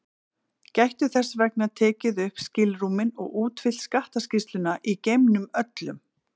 Gætu þess vegna tekið upp skilrúmin og útfyllt skattaskýrsluna í geimnum öllum.